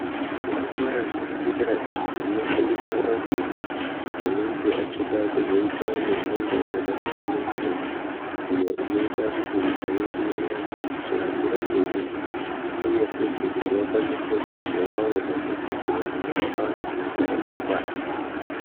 Zvikora zvepadera izvo zvinofundisa antu vanenge vachida kuzoita mishando yakasiyana -siyana. Iyo inoita kuti nyika yedu irambe ichihambira mberi , uye futi kuti vakwanise kuzovavo madhogodhera anorapa antu muzuva ramangwana.